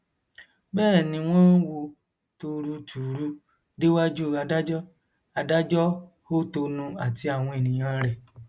bẹẹ ni wọn wo torutùru déwájú adájọ adájọ hótonu àti àwọn èèyàn rẹ